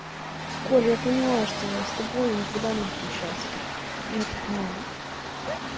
коль я поняла что с тобой я никогда не буду счастлива я это поняла